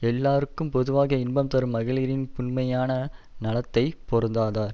எல்லார்க்கும் பொதுவாக இன்பம் தரும் மகளிரின் புன்மையான நலத்தைப் பொருந்தார்